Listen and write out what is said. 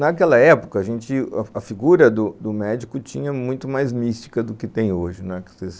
Naquela época, a gente, a figura do do médico tinha muito mais mística do que tem hoje, não é.